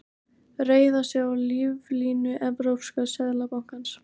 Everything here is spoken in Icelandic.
Reiða sig á líflínu Evrópska seðlabankans